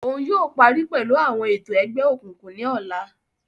Òún yóò parí pẹlu awọn ètò egbeokunkun ní ọla